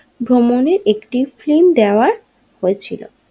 ভ্রমণের একটি ফ্লিম দেওয়া হয়েছিল।